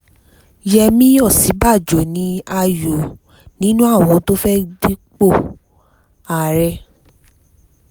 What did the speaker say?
yẹmi òsínbàjò sì ní ààyò nínú àwọn tó fẹ́ẹ́ dúpọ̀ ààrẹ